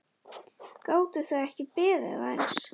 Gátuð þið ekki beðið aðeins?